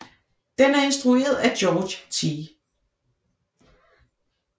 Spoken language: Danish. Den er instrueret af George T